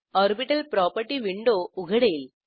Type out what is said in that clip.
orbital property window उघडेल